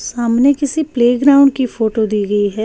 सामने किसी प्लेग्राउंड की फोटो दी गई है।